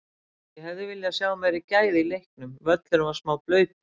Ég hefði viljað sjá meiri gæði í leiknum, völlurinn var smá blautur.